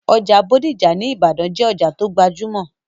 Ọjà bódìjà ní ìbàdàn jẹ́ òjà tó gbajúmọ̀